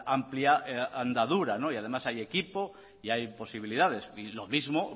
amplia andadura y además hay equipo y hay posibilidades y lo mismo